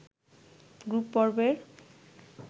group পর্বের